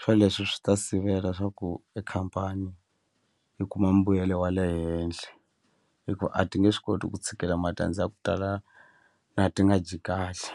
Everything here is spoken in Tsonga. swoleswo swi ta sivela swa ku e khampani yi kuma mbuyelo wa le henhle hikuva a ti nge swi koti ku tshikela matandza ya ku tala na ti nga dyi kahle.